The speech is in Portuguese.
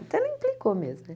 Até não implicou mesmo, né?